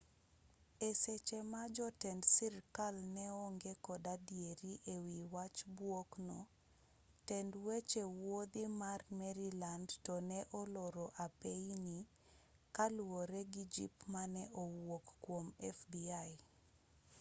e seche ma jotend sirkal ne onge kod adieri e wi wach buok no tend weche wuodhi ma maryland to ne oloro apeyini kaluwore gi jip mane owuok kuom jo fbi